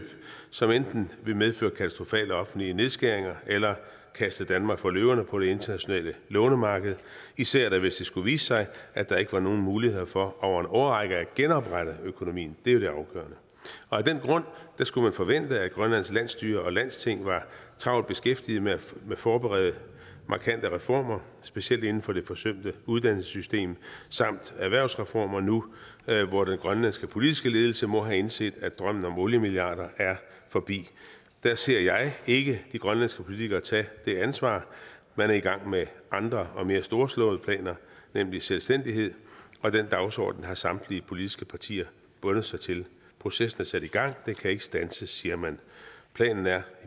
som enten ville medføre katastrofale offentlige nedskæringer eller kaste danmark for løverne på det internationale lånemarked især hvis det skulle vise sig at der ikke var nogen muligheder for over en årrække at genoprette økonomien det er jo det afgørende af den grund skulle man forvente at grønlands landsstyre og landstinget var travlt beskæftiget med at forberede markante reformer specielt inden for det forsømte uddannelsessystem samt erhvervsreformer nu hvor den grønlandske politiske ledelse må have indset at drømmen om oliemilliarder er forbi der ser jeg ikke de grønlandske politikere tage det ansvar man er i gang med andre og mere storslåede planer nemlig selvstændighed og den dagsorden har samtlige politiske partier bundet sig til processen er sat i gang og den kan ikke standses siger man planen er